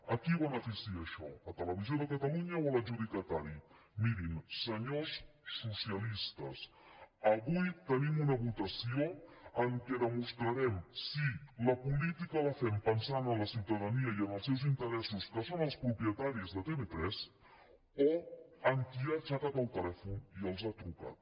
a qui beneficia això a televisió de catalunya o a l’adjudicatari mirin senyors socialistes avui tenim una votació en què demostrarem si la política la fem pensant en la ciutadania i en els seus interessos que són els propietaris de tv3 o en qui ha aixecat el telèfon i els ha trucat